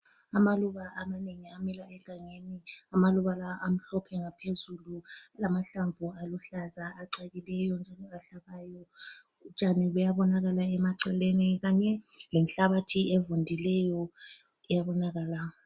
Amaluba amanengi amila egangeni. Amaluba lawa amhlophe ngaphezulu, lamahlamvu aluhlaza acakileyo njalo ahlabayo. Utshani buyabonakala emaceleni kanye lenhabathi evundileyo iyabonakala.